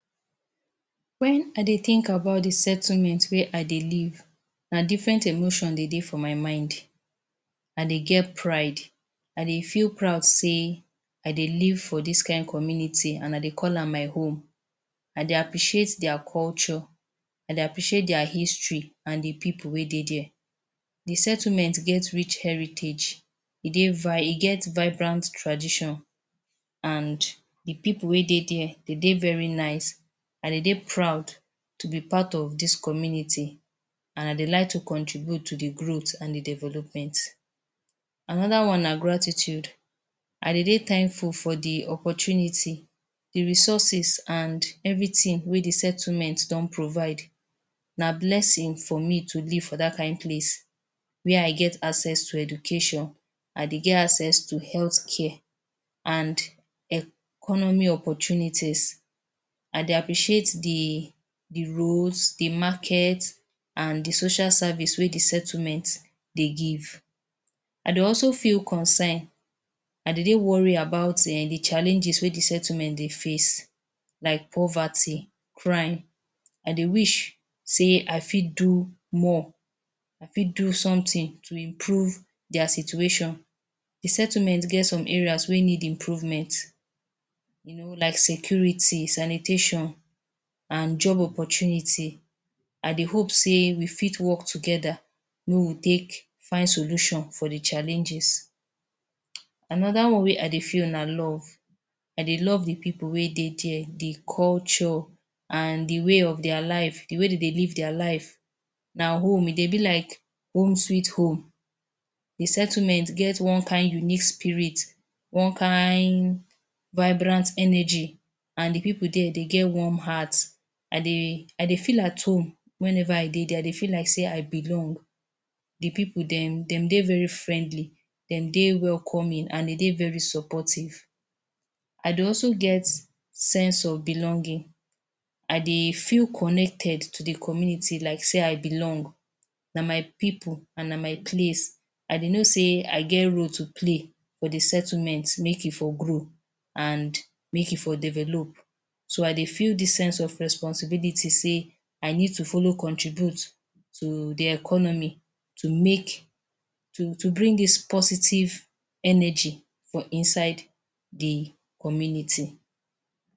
Wen I dey think about de settlement wey I dey live na different emotions dey dey for my mind. I dey get pride, I dey feel proud sey I dey live for dis kain community and I dey call am my own. I dey appreciate their culture, I dey appreciate their history and de people wey dey there. De settlement get rich heritage. E dey? e get vibrant tradition and de pipu wey dey there dey dey very nice and dey dey proud to be part of dis community and dey dey like to contribute to de growth and development. Another one na gratitude. I dey dey thankful for de opportunity, de resources and everything wey de settlement don provide. Na blessing for me to live for dat kind place where I get access to education, I dey get access to healthcare and economy opportunities. I dey appreciate de de roads, de market and social services wey de settlement dey give. I dey also feel concern, I dey dey worried about de challenges wey de settlement dey face like poverty, crime. I dey wish say I fit do more, I fit do something to improve their situation. De settlement get some areas wey need improvement you know like security, sanitation and job opportunity. I dey hope sey we fit work together make we take find solution for de challenges. Another one wey I dey feel na love. I dey love de pipu wey dey there, de culture and de way of their life. De way dem dey live their life na home e dey be like, home sweet home. De settlement get one kain unique spirit, one kain vibrant energy and de pipu there dey get warm heat. I dey I dey feel at home whenever I dey there. I dey feel like sey I belong. De pipu dem dem dey very friendly, dem dey welcoming and dem dey very supportive. I dey also get sense of belonging, I dey feel connected to de community like sey I belong, na my pipu and na my place. I dey know sey I get role to play for de settlement make e for grow and make e for develop. So I dey feel dis sense of responsibility sey I need to follow contribute to de economy to make to to bring dis positive energy for inside de community.